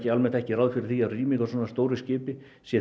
almennt ekki ráð fyrir því að rýming á svona stóru skipi sé